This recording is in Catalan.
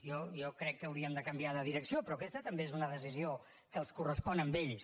jo crec que hauríem de canviar de direcció però aquesta també és una decisió que els correspon a ells